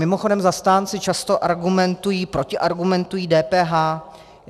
Mimochodem zastánci často argumentují, protiargumentují DPH.